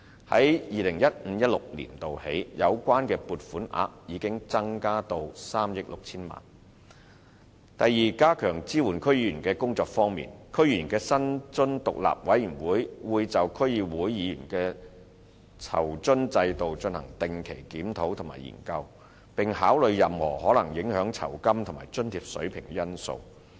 由 2015-2016 年度起，有關撥款額已增至3億 6,000 多萬元；第二，在加強支援區議員的工作方面，香港特別行政區區議會議員薪津獨立委員會會就區議會議員的酬津制度進行定期檢討和研究，並考慮任何可能影響酬金及津貼水平的因素。